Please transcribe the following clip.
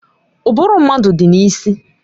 Ụbụrụ mmadụ dị n'isi